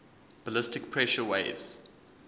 ballistic pressure waves